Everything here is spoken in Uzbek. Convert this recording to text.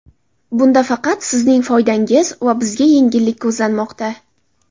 Bunda faqat sizning foydangiz va bizga yengillik ko‘zlanmoqda.